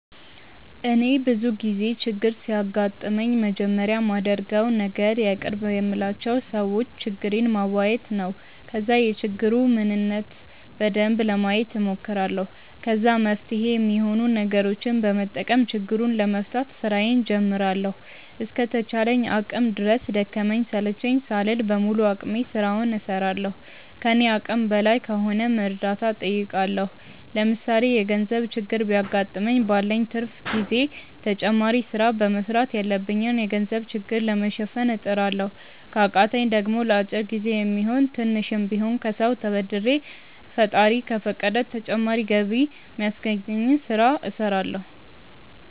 እኔ ብዙ ጊዜ ችግር ሲያጋጥመኝ መጀመሪያ ማደርገው ነገር የቅርብ የምላቸው ሰዎች ችግሬን ማዋየት ነው። ከዛ የችግሩን ምንነት በደንብ ለማየት ሞክራለሁ። ከዛ መፍትሄ ሚሆኑ ነገሮችን በመጠቀም ችግሩን ለመፍታት ስራዬን ጀምራለሁ። እስከ ተቻለኝ አቅም ድረስ ደከመኝ ሰለቸኝ ሳልል በሙሉ አቅሜ ስራውን እስራለሁ። ከኔ አቅም በላይ ከሆነም እርዳታ ጠይቃለሁ። ለምሳሌ የገርዘብ ችግር ቢያገጥመኝ ባለኝ ትርፍ ጊዜ ተጨማሪ ስራ በመስራት ያለብኝን የገንዘብ ችግር ለመሸፈን እጥራለሁ። ከቃተኝ ደሞ ለአጭር ጊዜ የሚሆን ስሽም ቢሆን ከሰው ተበድሬ ፈጣሪ ከፈቀደ ተጨማሪ ገቢ ሚያስገኘኝን ስለ እስራለሁ።